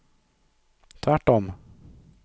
tvärtom